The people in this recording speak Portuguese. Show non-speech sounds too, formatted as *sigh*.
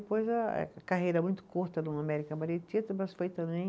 eh, a carreira muito curta no América, *unintelligible* mas foi também